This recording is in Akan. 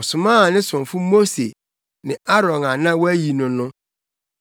Ɔsomaa ne somfo Mose, ne Aaron a na wayi no no.